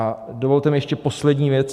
A dovolte mi ještě poslední věc.